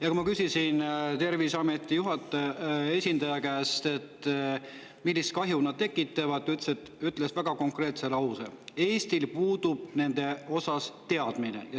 Ja kui ma küsisin Terviseameti esindaja käest, millist kahju need tekitavad, siis ta ütles väga konkreetse lause: Eestil puudub nende osas teadmine.